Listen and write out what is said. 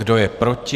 Kdo je proti?